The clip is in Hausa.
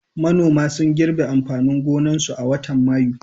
Manoma sun girbe amfanin gonakinsu a watan Mayu.